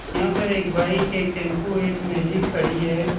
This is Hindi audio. यहाँ पर एक बाइक एक टैम्पू है। एक मैजिक खड़ी है।